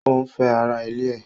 O ń fẹ́ ara ilé ẹ̀.